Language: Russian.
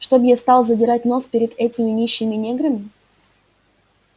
чтоб я стал задирать нос перед этими нищими неграми